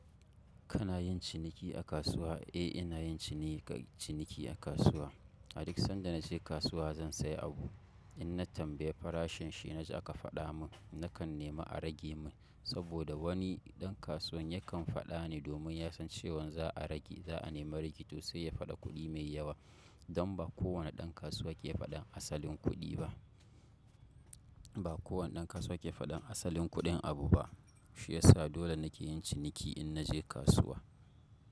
Kana yin ciniki a kasuwa? Eh, ina yin ciniki a kasuwa. Nakan zuwa kasuwa na sayi abu in na tambayi farashin shi, na ji aka faɗa mun nakan nema a rage min saboda wani ɗan kasuwan yakan faɗa ne domin ya san cewan za a rage, za a nemi regi to sai ya faɗi kuɗi mai yawa. Don ba kowane ɗan kasuwa ke faɗan asalin kuɗi ba. Ba kowane ɗan kasuwa ke faɗan asalin kuɗin abu ba. Shi ya sa dole nake yin ciniki in naje kasuwa.